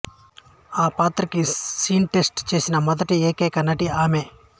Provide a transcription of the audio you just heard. ఆ పాత్రకు screen test చేసిన మొదటి ఏకైక నటి ఆమే